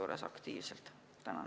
Tänan!